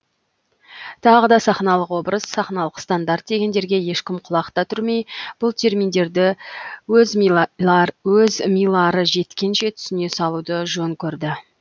тағы да сахналық образ сахналық стандарт дегендерге ешкім құлақ та түрмей бұл терминдерді өз милары жеткенше түсіне салуды жөн көрді